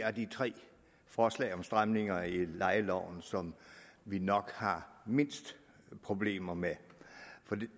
af de tre forslag om stramninger i lejeloven som vi nok har mindst problemer med for